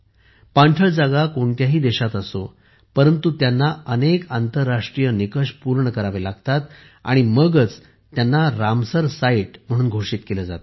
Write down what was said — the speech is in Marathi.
पाणथळ जागा कोणत्याही देशात असो परंतु त्यांना अनेक आंतराष्ट्रीय निकष पूर्ण करावे लागतात मगच त्यांना रामसर साइट म्हणून घोषित केले जाते